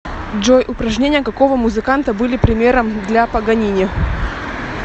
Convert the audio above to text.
джой упражнения какого музыканта были примером для паганини